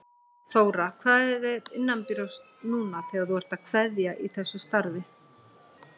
Þóra: Hvað er þér innanbrjósts núna þegar þú ert að kveðja í þessu starfi?